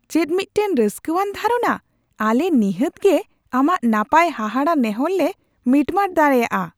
ᱪᱮᱫ ᱢᱤᱫᱴᱟᱝ ᱨᱟᱹᱥᱠᱟᱹᱣᱟᱱ ᱫᱷᱟᱨᱚᱱᱟ ! ᱟᱞᱮ ᱱᱤᱦᱟᱹᱛ ᱜᱮ ᱟᱢᱟᱜ ᱱᱟᱯᱟᱭ ᱦᱟᱦᱟᱲᱟ ᱱᱮᱦᱚᱨ ᱞᱮ ᱢᱤᱴᱢᱟᱴ ᱫᱟᱲᱮᱭᱟᱜᱼᱟ ᱾